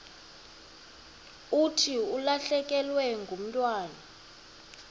thi ulahlekelwe ngumntwana